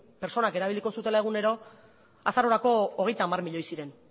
pertsonak erabiliko zutela egunero azarorako hogeita hamar milioi ziren